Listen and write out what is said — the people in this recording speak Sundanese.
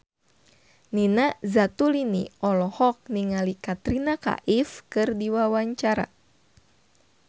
Nina Zatulini olohok ningali Katrina Kaif keur diwawancara